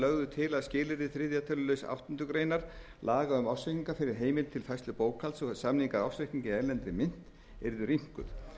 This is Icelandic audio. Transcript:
lögðu til að skilyrði þriðja tölulið áttundu grein laga um ársreikninga fyrir heimild til færslu bókhalds og samningar ársreikninga í erlendri mynt yrðu rýmkuð